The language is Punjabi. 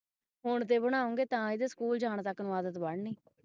ਹੋਣ ਤੇ ਬਣਾਉਗੇ ਤਾਂ ਇਹਦੇ school ਜਾਣ ਤਕ ਆਦਤ ਬਣਣੀ